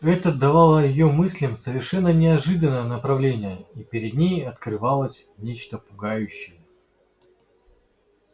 это давало её мыслям совершенно неожиданное направление и перед ней открывалось нечто пугающее